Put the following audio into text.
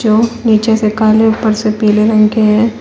जो नीचे से काले ऊपर से पीले रंग के हैं।